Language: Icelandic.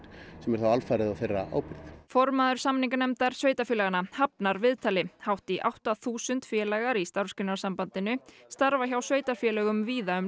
sem er þá alfarið á þeirra ábyrgð formaður samninganefndar sveitarfélaganna hafnaði viðtali hátt í átta þúsund félagar í Starfsgreinasambandinu starfa hjá sveitarfélögum víða um